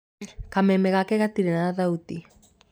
Kameme gake gatirĩ na thauti.